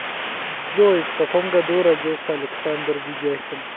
джой в каком году родился александр ведяхин